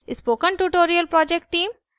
spoken tutorial project team :